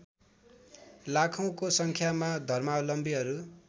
लाखौँको सङ्ख्यामा धर्मावलम्बीहरू